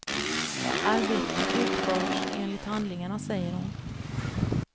Arbetet har utförts enligt handlingarna, säger hon.